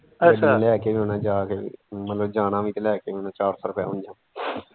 ਅੱਛਾ ਗੱਡੀ ਨੇ ਲੈ ਕੇ ਵੀ ਆਉਣਾ ਜਾ ਕੇ ਮਤਲਬ ਜਾਣਾ ਵੀ ਤੇ ਲੈ ਕੇ ਵੀ ਆਉਣਾ ਚਾਰ ਸੋ ਰੁਪਿਆ ਉਂਜ।